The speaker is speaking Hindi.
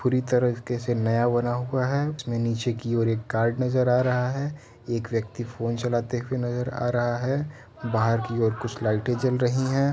पुरी तरह की से नया बना हुआ है उसमे नीचे की ओर एक गार्ड नजर आ रहा है। एक व्यक्ति फोन चलाते हुए नजर आ रहा है। बाहर की और कुछ लाइटे जल रही हैं।